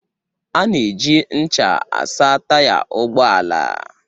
Ana eji ncha asa Taya ụgbọala.